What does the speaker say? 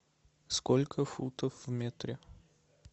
сколько футов в метре